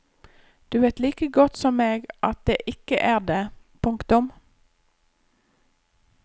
Du vet like godt som meg at det ikke er det. punktum